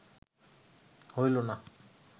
হইল না